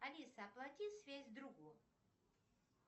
алиса оплати связь другу